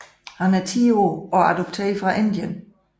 Han er 10 år og adopteret fra Indien